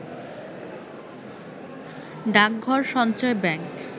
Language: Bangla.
ডাকঘর সঞ্চয় ব্যাংক